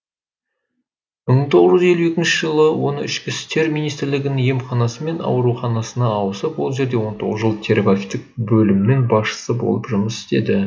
бір мың тоғыз жүз елу екінші жылы оны ішкі ісітер министрлігінің емханасы мен ауруханасына ауысып ол жерде он тоғыз жыл терапевтік бөлімнің басшысы болып жұмыс істеді